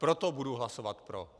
Proto budu hlasovat pro.